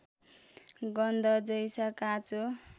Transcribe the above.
गन्ध जैसा काँचो